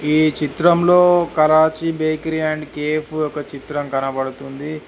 ఈ చిత్రంలో Karachi bakery and cafe ఒక చిత్రం కనబడుతుంది.